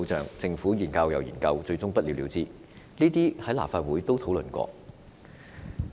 然而，政府一再研究，但最終仍不了了之，此等情況在立法會亦曾經討論。